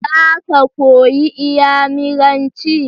Za ka koyi iyamiranci?